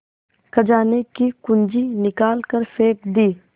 खजाने की कुन्जी निकाल कर फेंक दी